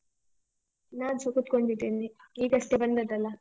ನಾನ್ಸ ಕುತ್ಕೊಂಡಿದ್ದೇನೆ. ಈಗಷ್ಟೆ ಬಂದದ್ದಲ್ಲ.